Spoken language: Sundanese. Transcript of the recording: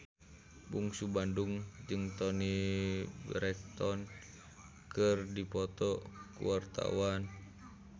Bungsu Bandung jeung Toni Brexton keur dipoto ku wartawan